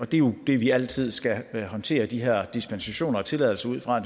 det er jo det vi altid skal håndtere de her dispensationer og tilladelser ud fra